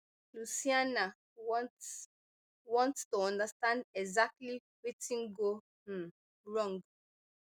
lucianna want want to understand exactly wetin go um wrong